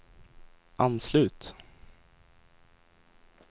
anslut